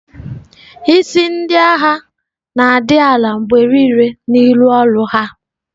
Isi Ndị agha na-adị ala mgbe niile n'ihi ọrụ ha.